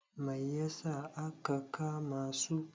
Mai yasa aka kama su?